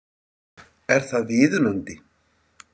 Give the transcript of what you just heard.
Er það viðunandi?